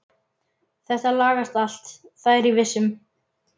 Þetta lagast allt, það er ég viss um.